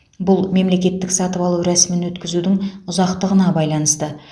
бұл мемлекеттік сатып алу рәсімін өткізудің ұзақтығына байланысты